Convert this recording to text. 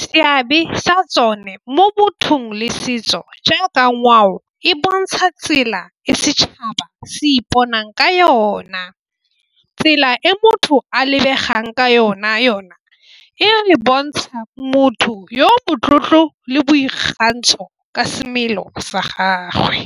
Seabe sa tsone mo mothong le setso jaaka ngwao e bontsha tsela e setšhaba se iponang ka yona. Tsela e motho a lebegang ka yona, yona e bontsha motho yo motlotlo le boikgantsho ka semelo sa gagwe.